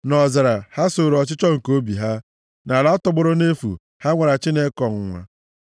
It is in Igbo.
Nʼọzara, ha sooro ọchịchọ nke obi ha; nʼala tọgbọrọ nʼefu, ha nwara Chineke ọnwụnwa.